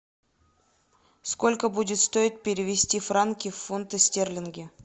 сколько будет стоить перевести франки в фунты стерлинги